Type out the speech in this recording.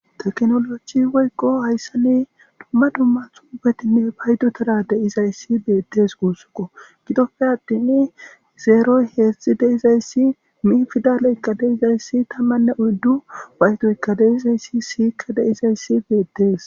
teknoloji woykqo hayssani dumma dumma tubetinne paydu tara deizayssi beettes guussuko gidoppe addin zeeroy heedzdxzi deizayssi mi fidaleykka deizayssi tammanne oyddu waytoyka deizayssi siyikka deizayssi beettees